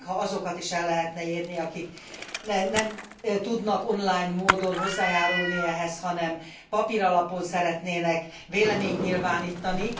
Szeretnénk, ha azokat is el lehetne érni, akik nem tudnak online módon hozzájárulni ehhez, hanem papíralapon szeretnének véleményt nyilvánítani.